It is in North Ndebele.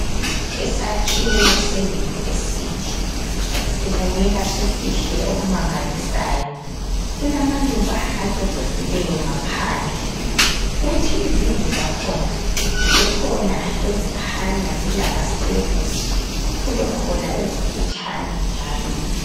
Isakhiwo se university sibukeka sisihle okumangalisayo kulamaluba acecisileyo ngaphandle kuthi izindlu zakhona zikhona ezikhanya zilamasteps kubekhona ezimfitshane njalo.